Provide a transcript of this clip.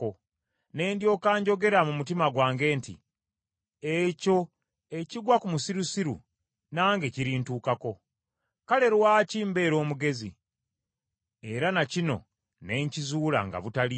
Ne ndyoka njogera mu mutima gwange nti, “Ekyo ekigwa ku musirusiru nange kirintuukako. Kale lwaki mbeera omugezi?” Era na kino ne nkizuula nga butaliimu.